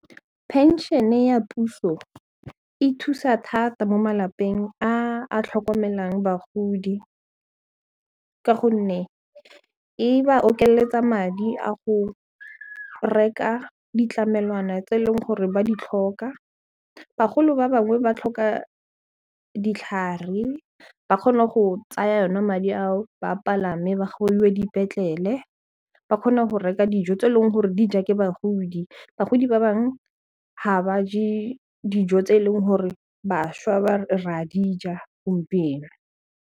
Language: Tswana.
Pension-e ya puso e thusa thata mo malapeng a a tlhokomelang bagodi ka gonne e ba okeletsa madi a go reka ditlamelwana tse e leng gore ba di tlhoka, bagolo ba bangwe ba tlhoka ditlhare ba kgone go tsaya yona madi ao ba palame ba gongwe dipetlele ba kgone go reka dijo tse e leng gore dija ke bagodi bagodi ba bangwe ga ba je dijo tse e leng gore bašwa re a dija gompieno.